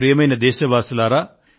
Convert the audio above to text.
ప్రియమైన నా దేశ వాసులారా